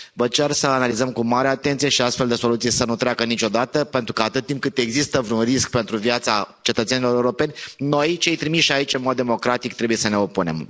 Vă cer să analizăm cu mare atenție și astfel de soluții să nu treacă niciodată, pentru că atât timp cât există vreun risc pentru viața cetățenilor europeni, noi, cei trimiși aici în mod democratic, trebuie să ne opunem.